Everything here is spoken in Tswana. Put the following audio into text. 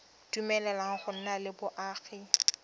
dumeleleng go nna le boagi